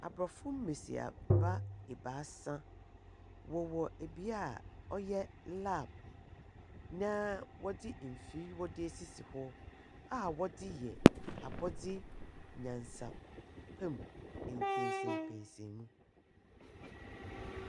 Abrɔfo mbesiamba ebaasa wɔwɔ ebia ɔyɛ lab naa wɔdze mfir esisi hɔ aa wɔdze yɛ abɔde nyansapɛmu mpɛsɛnpɛsnmu.